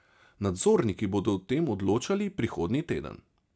Nadzorniki bodo o tem odločali prihodnji teden.